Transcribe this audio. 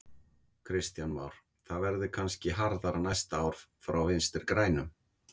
Kristján Már: Það verði kannski harðara næsta ár frá Vinstri grænum?